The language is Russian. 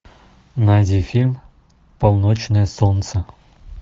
найди фильм полночное солнце